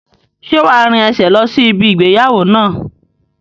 Ṣé wá rìn ẹsẹ̀ lọ sí ibi ìgbéyàwó náà?